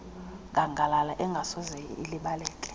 ngangalala engasoze ilibaleke